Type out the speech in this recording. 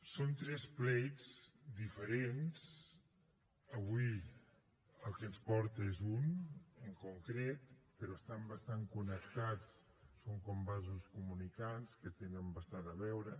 són tres plets diferents avui el que ens porta és un en concret però estan bastant connectats són com vasos comunicants que tenen bastant a veure